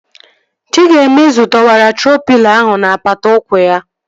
Chigaemezu dowere troo pịlo ahụ n'apata ụkwụ ya